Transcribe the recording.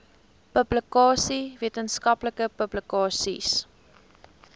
publikasies wetenskaplike publikasies